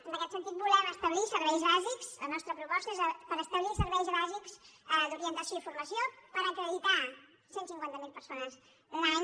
en aquest sentit volem establir serveis bàsics la nostra proposta és per establir serveis bàsics d’orientació i formació per acreditar cent i cinquanta miler persones l’any